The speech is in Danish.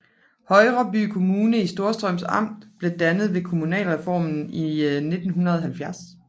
Højreby Kommune i Storstrøms Amt blev dannet ved kommunalreformen i 1970